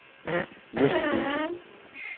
Møsthuse